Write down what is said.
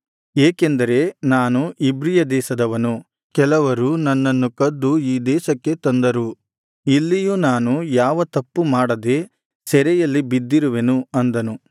ಏಕೆಂದರೆ ನಾನು ಇಬ್ರಿಯ ದೇಶದವನು ಕೆಲವರು ನನ್ನನ್ನು ಕದ್ದು ಈ ದೇಶಕ್ಕೆ ತಂದರು ಇಲ್ಲಿಯೂ ನಾನು ಯಾವ ತಪ್ಪು ಮಾಡದೆ ಸೆರೆಯಲ್ಲಿ ಬಿದ್ದಿರುವೆನು ಅಂದನು